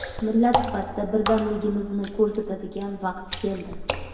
Millat sifatida birdamligimizni ko‘rsatadigan vaqt keldi.